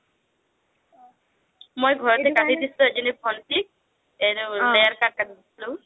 মই ঘৰতে কাটি দিছিলো এজনী ভন্টিক এইটো layer cut কাটি দিছিলো,